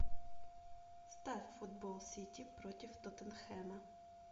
ставь футбол сити против тоттенхэма